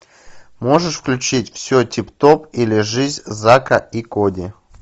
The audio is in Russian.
можешь включить все тип топ или жизнь зака и коди